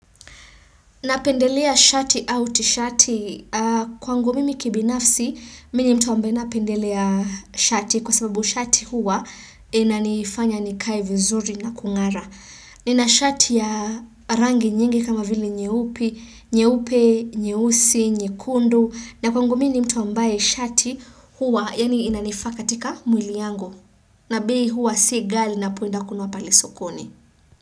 Napendelea shati au tishati kwangu mimi kibinafsi mini mtu ambaye napendelea shati kwa sababu shati huwa inanifanya nikae vizuri na kungara. Nina shati ya rangi nyingi kama vili nyeupi, nyeupi, nyeusi, nye kundu na kwangu mimi mtu ambaye shati huwa yanye inanifaa ka tika mwili yangu na bei huwa si ghali na poenda kunwa palisokoni.